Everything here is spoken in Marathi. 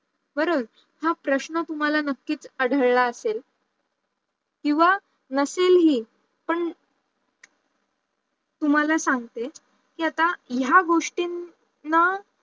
खरं च, हा प्रशन तुम्हाला नक्की आढळले असेल किंवा नसेल हे पण तुम्हाला साग्ते की आता या गोष्टींना